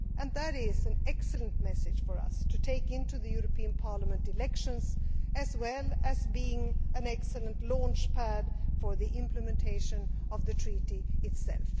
That is an excellent message for us to take into the European Parliament elections, as well as being an excellent launch pad for preparing for the implementation of the Treaty itself.